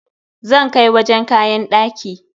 Zan kai wajen kayan ɗaki.